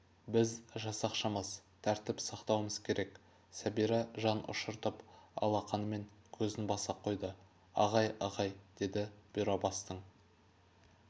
біз жасақшымыз тәртіп сақтауымыз керек сәбира жан ұшыртып алақанымен көзін баса қойды ағай ағай деді бұйрабастың